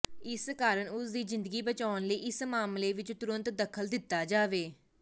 ਇਸ ਕਾਰਨ ਉਸ ਦੀ ਜ਼ਿੰਦਗੀ ਬਚਾਉਣ ਲਈ ਇਸ ਮਾਮਲੇ ਵਿਚ ਤੁਰੰਤ ਦਖਲ ਦਿੱਤਾ ਜਾਵੇ